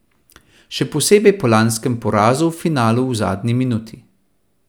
Še posebej po lanskem porazu v finalu v zadnji minuti.